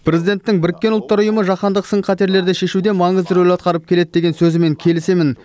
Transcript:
президенттің біріккен ұлттар ұйымы жаһандық сын қатерлерді шешуде маңызды рөл атқарып келеді деген сөзімен келісемін